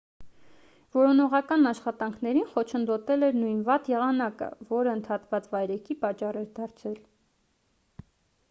որոնողական աշխատանքներին խոչընդոտել էր նույն վատ եղանակը որն ընդհատված վայրէջքի պատճառ էր դարձել